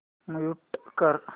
mute कर